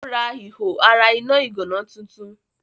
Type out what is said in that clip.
Ó rà ihò iná ara ìgànná tuntun.